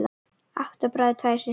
Átta bræður, tvær systur.